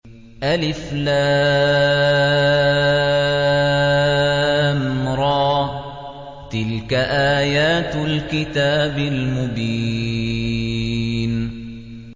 الر ۚ تِلْكَ آيَاتُ الْكِتَابِ الْمُبِينِ